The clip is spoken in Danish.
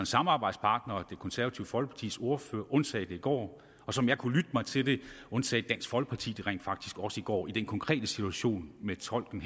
samarbejdspartner det konservative folkepartis ordfører undsagde det i går og som jeg kunne lytte mig til det undsagde dansk folkeparti det rent faktisk også i går i den konkrete situation med tolken